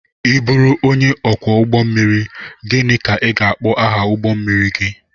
I bụru onye ọkwọ ụgbọ mmiri, gịnị ka a ga-akpọ aha ụgbọ mmiri gị?